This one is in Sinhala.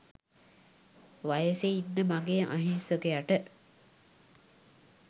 වයසෙ ඉන්න මගේ අහිංසකයට